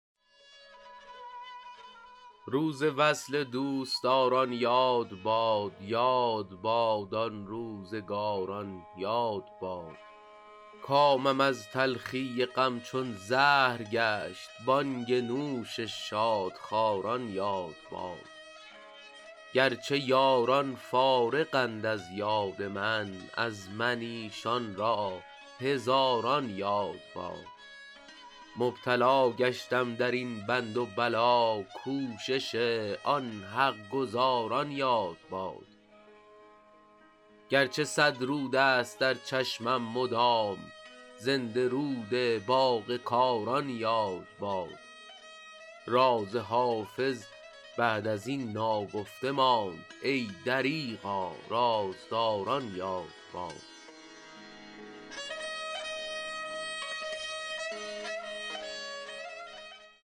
روز وصل دوستداران یاد باد یاد باد آن روزگاران یاد باد کامم از تلخی غم چون زهر گشت بانگ نوش شادخواران یاد باد گر چه یاران فارغند از یاد من از من ایشان را هزاران یاد باد مبتلا گشتم در این بند و بلا کوشش آن حق گزاران یاد باد گر چه صد رود است در چشمم مدام زنده رود باغ کاران یاد باد راز حافظ بعد از این ناگفته ماند ای دریغا رازداران یاد باد